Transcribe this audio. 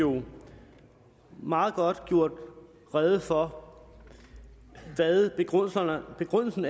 jo meget godt gjort rede for hvad begrundelsen